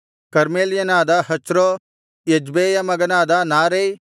ಕರ್ಮೆಲ್ಯನಾದ Hezro ಎಜ್ಬೈಯ ಮಗನಾದ Naarai